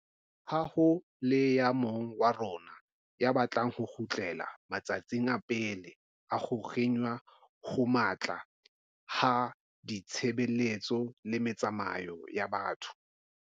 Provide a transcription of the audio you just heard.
Ha ho le ya mong wa rona ya batlang ho kgutlela ma tsatsing a pele a ho kginwa ho matla ha ditshebeletso le metsamao ya batho.